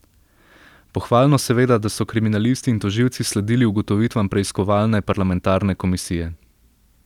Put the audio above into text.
Pohvalno seveda, da so kriminalisti in tožilci sledili ugotovitvam preiskovalne parlamentarne komisije.